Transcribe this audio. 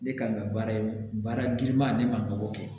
Ne kan ka baara ye baara giriman ne man kan ka o kɛ